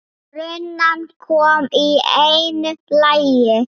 Runan kom í einu lagi.